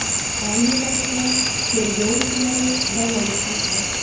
Ayni paytda tergov ishlari davom etmoqda.